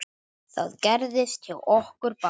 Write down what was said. Það gerðist hjá okkur báðum.